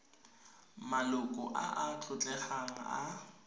maloko a a tlotlegang a